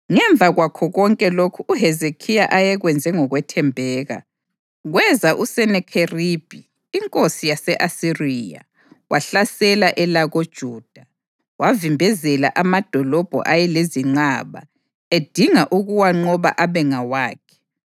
Ngemva kwakho konke lokhu uHezekhiya ayekwenze ngokwethembeka, kweza uSenakheribhi inkosi yase-Asiriya wahlasela elakoJuda. Wavimbezela amadolobho ayelezinqaba, edinga ukuwanqoba abe ngawakhe.